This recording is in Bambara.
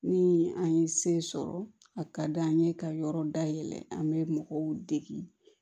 Ni an ye se sɔrɔ a ka d'an ye ka yɔrɔ dayɛlɛ an bɛ mɔgɔw dege